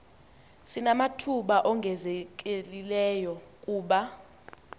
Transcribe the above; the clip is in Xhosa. sinamathuba ongezelelekileyo kuba